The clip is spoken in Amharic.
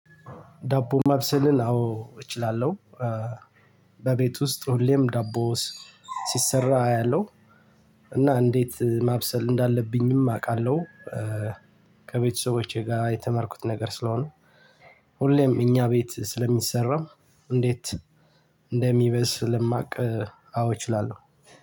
ዳቦ ማብሰልን አዎ እችላለሁ። በቤት ውስጥ ሁሌም ዳቦ ስ ሲሰራ አያለሁ። እና እንዴት ማብሰል እንዳለብኝም አውቃለሁ። ከቤተሰቦቼ ጋር የተማርኩት ነገር ስለሆነ ሁሌም እኛ ቤት ስለሚሰራ። እንዴት እንደሚበስለማቅ አዎ እችላለሁ